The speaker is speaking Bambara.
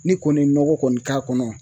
Ne kɔni ye nɔgɔ kɔni k'a kɔnɔ